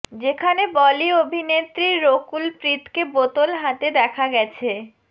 যেখানে বলি অভিনেত্রী রকুল প্রীতকে বোতল হাতে দেখা গেছে